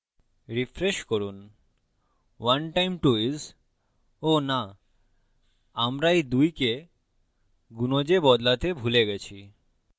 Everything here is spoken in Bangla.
refresh করুন 1 times 2 is oh ! nah আমরা এই 2 কে গুনজে বদলাতে ভুলে গেছি